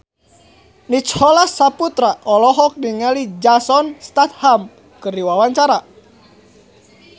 Nicholas Saputra olohok ningali Jason Statham keur diwawancara